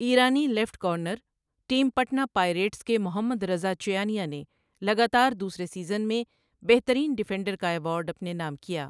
ایرانی left corner, team Patna Pirates کے Mohammadreza Chiyaneh نے لگاتار دوسرے سیزن میں بہترین ڈیفینڈر کا ایوارڈ اپنے نام کیا۔